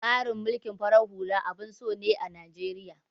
Tsarin mulkin farar hula abun so ne a Najeriya.